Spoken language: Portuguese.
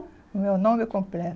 O meu nome